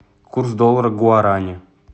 курс доллара к гуарани